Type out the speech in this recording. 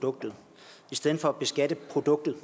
produktet i stedet for at beskatte produktet